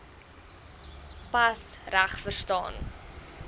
pas reg verstaan